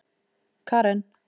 Karen